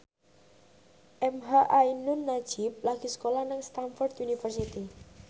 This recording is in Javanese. emha ainun nadjib lagi sekolah nang Stamford University